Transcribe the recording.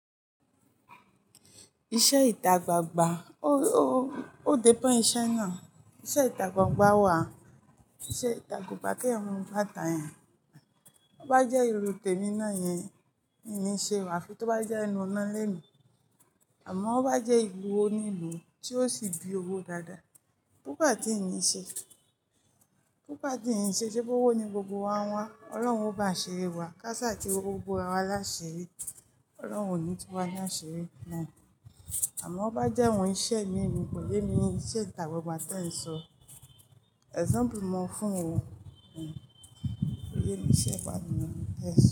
Iṣẹ́ ìta gbangba, ó depend iṣẹ́ náà, iṣẹ́ ìta gbangba wà, iṣẹ́ ìta gbangba kí ẹ̀yan mo gbàtà yẹn, ó bá jẹ́ ilú tèmi náà yẹn, ìní ṣe wà, tó bá jẹ́ ẹnu óná lémi, àmọ́ ó bá jẹ́ ìlú onílùú tí ó sì bi owó dáadáa, búba tí ìní ṣe, búba tí ìní ṣe ṣe bówó ni gbogbo wa ń wá, Ọlọ́run ò bá ṣiri wa, ká sá ti rowó bora wa láṣẹ eré, Ọlọ́run ò ní tú wa láṣiri náà, àmọ́ ó bá jẹ́ awon iṣẹ́ mi èmi kò yẹ mí iṣẹ́ ìta gbangba tí ẹ ń sọ. Example mo fún ọ, kò yẹ mí iṣẹ́ ìta gbangba tí ẹ ń sọ.